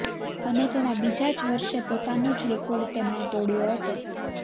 અને તેના બીજા જ વર્ષે પોતાનો જ રેકોર્ડ તેમણે તોડ્યો હતો